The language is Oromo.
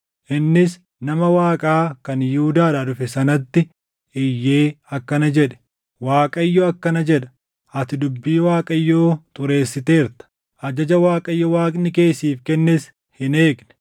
Innis nama Waaqaa kan Yihuudaadhaa dhufe sanatti iyyee akkana jedhe; “ Waaqayyo akkana jedha, ‘Ati dubbii Waaqayyoo xureessiteerta; ajaja Waaqayyo Waaqni kee siif kennes hin eegne.